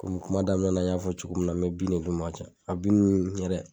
Kɔmi kuma daminɛ n y'a fɔ cogo min na mɛ bin ne d'o ma ka caya a bin ninnu yɛrɛ